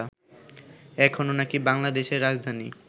এখনো নাকি বাংলাদেশের রাজধানী